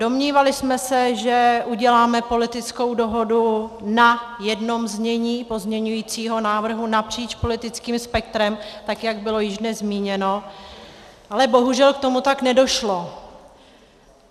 Domnívali jsme se, že uděláme politickou dohodu na jednom znění pozměňujícího návrhu napříč politickým spektrem, tak jak bylo již dnes zmíněno, ale bohužel k tomu tak nedošlo.